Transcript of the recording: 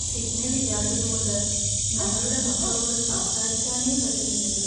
Signal ഇല്ലാത്തതുകൊണ്ട് ഞങ്ങളുടെ മക്കളോട് സംസാരിക്കാനേ പറ്റുന്നില്ലല്ലോ.